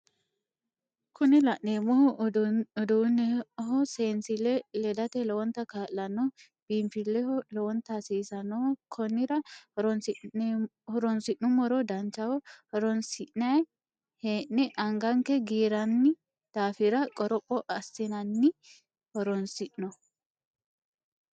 Kuni laneemmohu uduuneho seenssille ledate lowonta kaallanno biinfilleho lowonta hasiisanoho konnira horonsi'nummoro danchaho horonsinayi hee'neni anganke giirranni daafira qoropho assinnanni horonsi'no